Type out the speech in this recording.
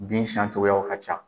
Bin siyan cogoyaw ka ca.